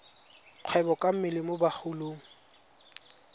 kgwebo ka mmele mo bagolong